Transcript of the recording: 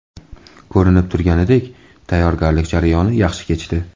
Ko‘rinib turganidek, tayyorgarlik jarayoni yaxshi kechdi.